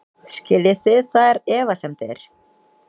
Skiljið þið þær efasemdir?